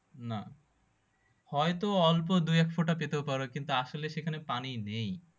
না হয়তো অল্প দুই এক ফুটা পেতেও পারো কিন্তু আসলে সেখানে পানি নেই